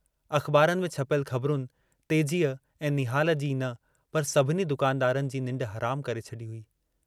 अख़बारुनि में छपियल ख़बरुनि तेजीअ ऐं निहाल जी ई न पर सभिनी दुकानदारनि जी निंड हरामु करे छॾी हुई।